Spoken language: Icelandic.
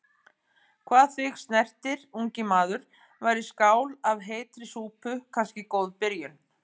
Hvað þig snertir, ungi maður, væri skál af heitri súpu kannski góð byrjun.